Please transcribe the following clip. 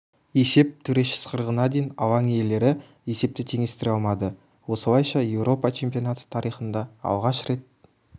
есеп төреші ысқырығына дейін алаң иелері есепті теңестіре алмады осылайша еуропа чемпионаты тарихында алғаш рет